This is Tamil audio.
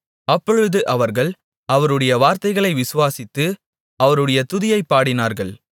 அப்பொழுது அவர்கள் அவருடைய வார்த்தைகளை விசுவாசித்து அவருடைய துதியைப் பாடினார்கள்